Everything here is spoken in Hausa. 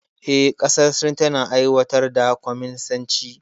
Eh, ƙasar Sin tana aiwatar da kwaminisanci.